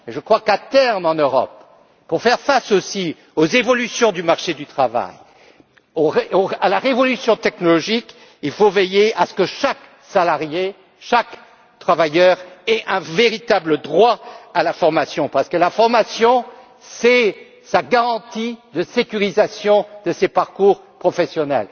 Je crois qu'à terme en Europe, pour faire aussi face aux évolutions du marché du travail et à la révolution technologique, il faudra veiller à ce que chaque salarié et chaque travailleur aient un véritable droit à la formation parce que la formation, c'est sa garantie de sécurisation de ses parcours professionnels.